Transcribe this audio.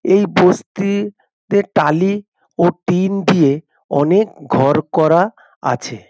এই বস্তি তে টালি ও টিন দিয়ে অনেক ঘর করা আছে।